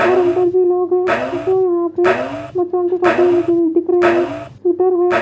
और अंदर भी लोग हैं जो यहां पे बच्चों के कपड़े लेते दिख रहे हैं है।